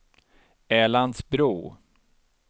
Älandsbro